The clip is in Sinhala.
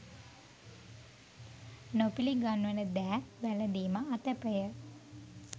නොපිළිගන්වන දෑ වැලඳීම අතැපය.